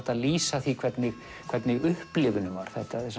að lýsa því hvernig hvernig upplifunin var